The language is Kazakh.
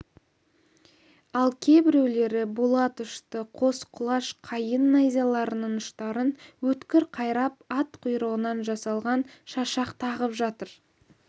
ал кейбіреулері болат ұшты қос құлаш қайың найзаларының ұштарын өткір қайрап ат құйрығынан жасалған шашақ тағып жатыр